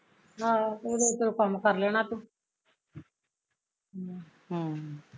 ਆਹੋ ਉਦੋਂ ਨੂੰ ਕੰਮ ਕਰ ਲੈਣਾ ਤੂੰ ਹਮ